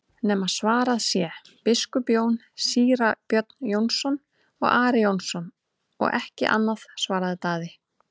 nema svarað sé:-Biskup Jón, Síra Björn Jónsson og Ari Jónsson og ekki annað, svaraði Daði.